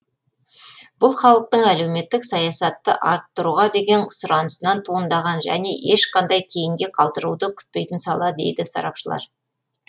бұл халықтың әлеуметтік саясатты арттыруға деген ұсынысынан туындаған және ешқандай кейінге қалдыруды күтпейтін сала дейді сарапшылар